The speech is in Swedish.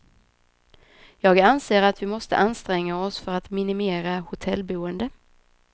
Jag anser att vi måste anstränga oss för att minimera hotellboende.